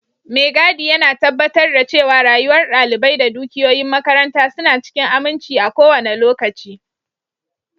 Mai gadi yana tabbatar da cewa rayuwar dalibai da dukiyoyin makaranta suna cikin aminci a kowane lokaci.